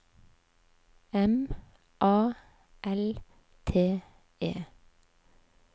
M A L T E